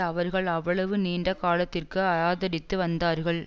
அவர்கள் அவ்வளவு நீண்ட காலத்திற்கு ஆதரித்து வந்தார்கள்